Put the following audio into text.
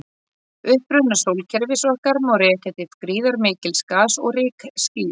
Uppruna sólkerfis okkar má rekja til gríðarmikils gas- og rykskýs.